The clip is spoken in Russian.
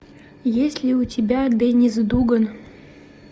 есть ли у тебя деннис дуган